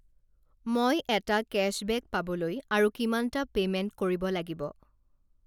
মই এটা কেশ্ববেক পাবলৈ আৰু কিমানটা পে'মেণ্ট কৰিব লাগিব?